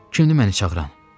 “Kimdir məni çağıran?”